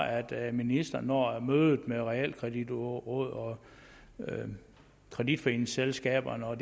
at ministeren når mødet med realkreditrådet og kreditforeningsselskaberne og